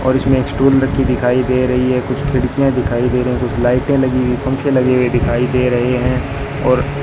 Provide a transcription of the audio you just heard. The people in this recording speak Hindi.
और इसमें स्टूल रखी दिखाई दे रही है कुछ खिड़कियां दिखाई दे रहे कुछ लाइटें लगी हुई पंखे लगे हुए दिखाई लगी दे रहे हैं और --